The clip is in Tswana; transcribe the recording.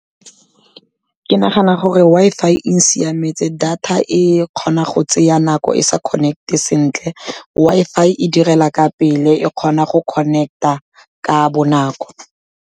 Ke nagana gore Wi-Fi e siametse, data e kgona go tsaya nako e sa connect-e sentle, Wi-Fi e direla ka pele, e kgona go connect-a ka bonako.